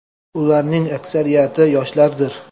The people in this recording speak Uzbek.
Ularning aksariyati yoshlardir.